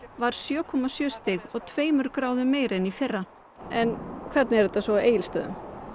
var sjö komma sjö stig og tveimur gráðum meiri en í fyrra en hvernig er þetta á Egilsstöðum